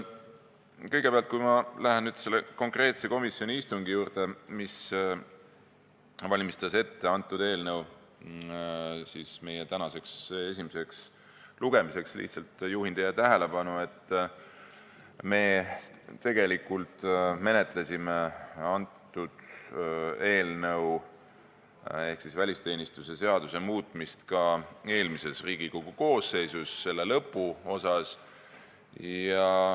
Kõigepealt, enne kui ma lähen selle konkreetse komisjoni istungi juurde, kus eelnõu tänaseks esimeseks lugemiseks ette valmistati, ma lihtsalt juhin teie tähelepanu, et me tegelikult menetlesime antud eelnõu ehk välisteenistuse seaduse muutmist ka eelmises Riigikogu koosseisus, selle töö lõpuosas.